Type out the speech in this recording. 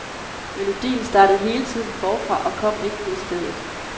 Melodien startede hele tiden forfra og kom ikke ud af stedet.